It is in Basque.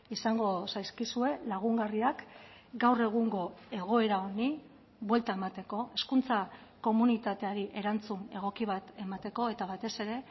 izango zaizkizue lagungarriak gaur egungo egoera honi buelta emateko hezkuntza komunitateari erantzun egoki bat emateko eta batez ere